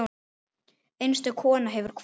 Einstök kona hefur kvatt.